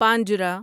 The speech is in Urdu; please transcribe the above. پانجرا